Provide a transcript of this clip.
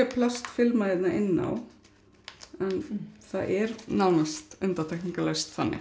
plastfilma hérna inná en það er nánast undantekningalaust þannig